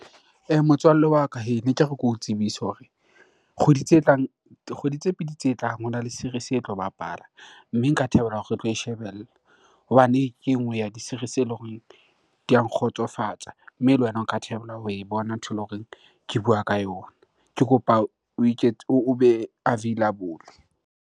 Motswalle wa ka hee, neke re ke o tsebise hore kgwedi tse tlang, kgwedi tse pedi tse tlang hona le series-e e tlo bapala. Mme nka thabela hore re tlo e shebella hobane ke e nngwe ya di-series-e ele horeng di a nkgotsofatsa, mme le wena o ka thabela ho e bona ntho ele horeng ke bua ka yona. Ke kopa obe available.